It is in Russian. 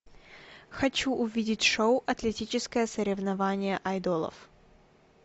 хочу увидеть шоу атлетическое соревнование айдолов